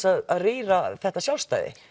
að rýra þetta sjálfstæði